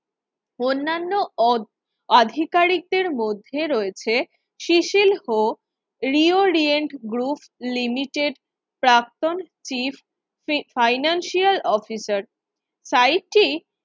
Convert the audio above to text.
অন্যান্য অধ আধিকারিকদের মধ্যে রয়েছে Cecil Ho Reorient Group Limited প্রাক্তন চিফ ফাইনান্সিয়াল অফিসার সাইট টি